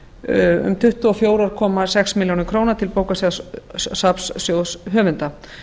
um tuttugu og fjögur komma sex milljónir króna til bókasafnssjóðs höfunda